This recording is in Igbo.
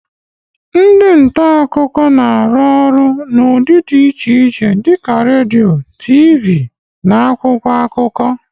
Ndị nta akụkọ na-arụ ọrụ n'ụdị dị iche iche dịka redio, TV, na akwụkwọ akụkọ.